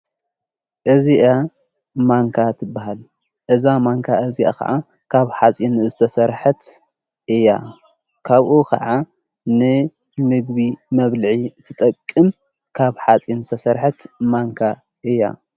እዚኣ ማንካ ትበሃል እዛ ማንካ እዚኣ ኸዓ ካብ ሓፂን ዝተሠርሐት እያ ካብኡ ኸዓ ን ምግቢ መብልዒ እትጠቅም ካብ ሓጺን ዝተሠርሐት ማንካ እያ።